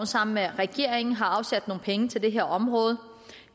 sammen med regeringen afsat nogle penge til det her område